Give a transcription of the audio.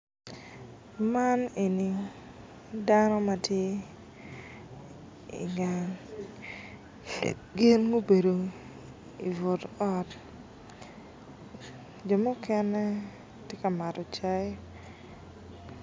Man eni dano ma tye i gang gin gubedo i but ot jo mukene tye ka mato cai